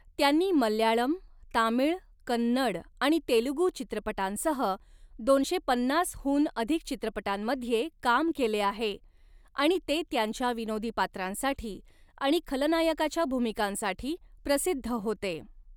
त्यांनी मल्याळम, तामिळ, कन्नड आणि तेलुगु चित्रपटांसह दोनशे पन्नासहून अधिक चित्रपटांमध्ये काम केले आहे आणि ते त्यांच्या विनोदी पात्रांसाठी आणि खलनायकाच्या भूमिकांसाठी प्रसिद्ध होते.